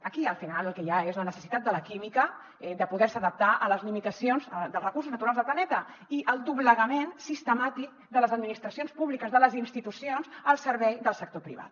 aquí al final el que hi ha és la necessitat de la química de poder se adaptar a les limitacions dels recursos naturals del planeta i el doblegament sistemàtic de les administracions públiques de les institucions al servei del sector privat